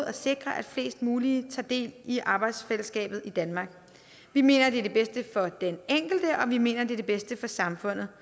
at sikre at flest muligt tager del i arbejdsfællesskabet i danmark vi mener det er det bedste for den enkelte og vi mener det er det bedste for samfundet